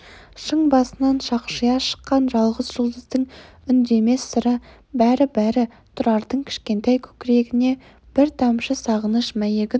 шың басынан шақшия шыққан жалғыз жұлдыздың үндемес сыры бәрі-бәрі тұрардың кішкентай көкірегіне бір-бір тамшы сағыныш мәйегін